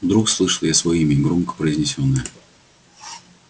вдруг слышу я своё имя громко произнесённое